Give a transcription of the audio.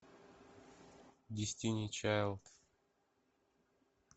дестини чайлд